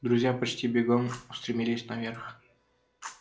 друзья почти бегом устремились наверх